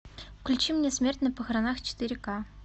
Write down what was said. включи мне смерть на похоронах четыре ка